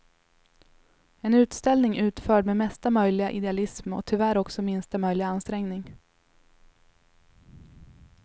En utställning utförd med mesta möjliga idealism och tyvärr också minsta möjliga ansträngning.